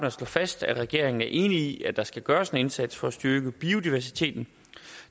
at slå fast at regeringen er enig i at der skal gøres en indsats for at styrke biodiversiteten